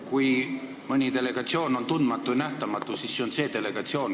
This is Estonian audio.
Kui mõni delegatsioon on tundmatu ja nähtamatu, siis see on see delegatsioon.